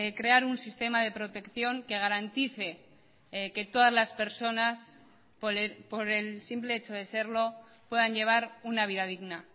crear un sistema de protección que garantice que todas las personas por el simple hecho de serlo puedan llevar una vida digna